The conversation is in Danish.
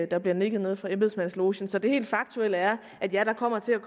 der bliver nikket nede fra embedsmandslogen så det helt faktuelle er at ja der kommer til